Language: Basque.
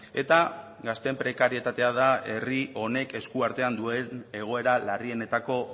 eta gazteen prekarietatea da herri honek esku artean duen egoera larrienetako